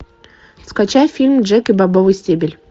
скачай фильм джек и бобовый стебель